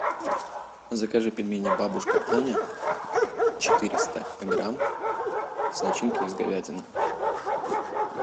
закажи пельмени бабушка аня четыреста грамм с начинкой из говядины